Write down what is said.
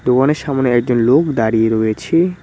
দোকানের সামোনে একজন লোক দাঁড়িয়ে রয়েছে।